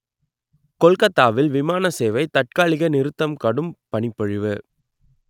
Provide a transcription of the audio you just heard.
கொல்கத்தாவில் விமான சேவை தற்காலிக நிறுத்தம் கடும் பனிப்பொழிவு